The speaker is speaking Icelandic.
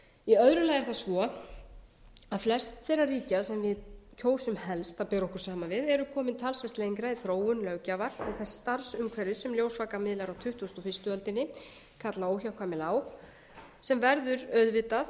í öðru lagi er það svo að flest þeirra ríkja sem við kjósum helst að bera okkur saman við eru komin talsvert lengra í þróun löggjafar og þess starfsumhverfis sem ljósvakamiðlar á tuttugustu og fyrstu öldinni kalla óhjákvæmilega á sem verður auðvitað